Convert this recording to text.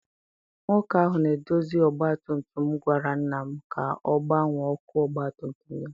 Nwoke ahụ na-edozi ọgbatumtum gwara nna m ka ọ gbanwee ọkụ ọgbatumtum ya.